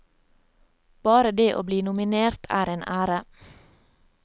Bare det å bli nominert er en ære.